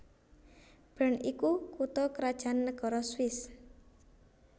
Bern iku kutha krajan nagara Swiss